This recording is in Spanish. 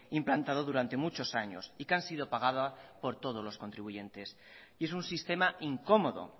implantado durante muchos años y que han sido pagada por todos los contribuyentes y es un sistema incómodo